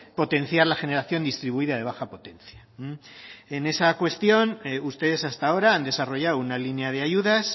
potenciar la generación distribuida de baja potencia en esa cuestión ustedes hasta ahora han desarrollado una línea de ayudas